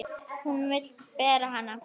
Hún vill bera hana.